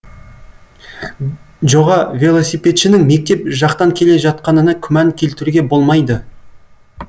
жоға велосипедшінің мектеп жақтан келе жатқанына күмән келтіруге болмайды